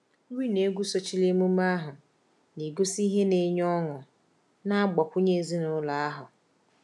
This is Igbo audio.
Nri na egwu sochiri emume ahụ, na-egosi ihe na-enye ọṅụ na-agbakwunye ezinụlọ ahụ.